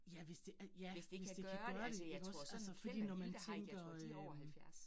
Jeg hvis det er ja, hvis det kan gøre det ikke også altså fordi når man tænker øh